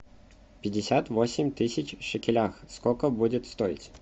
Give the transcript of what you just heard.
пятьдесят восемь тысяч в шекелях сколько будет стоить